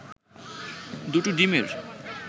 দুটো ডিমের